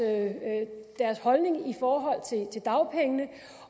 holdning i forhold til dagpengene